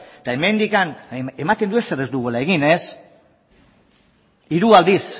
eta hemendik ematen du ezer ez dugula egin ez hiru aldiz